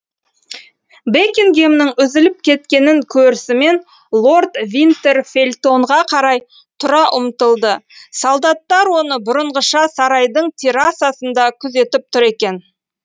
бекингэмнің үзіліп кеткенін көрісімен лорд винтер фельтонға қарай тұра ұмтылды солдаттар оны бұрынғыша сарайдың террасасында күзетіп тұр екен